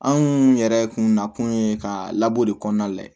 Anw yɛrɛ kun nakun ye ka labɔ de kɔnɔna lajɛ